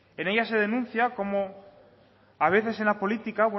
en ella se denuncia cómo a veces en la política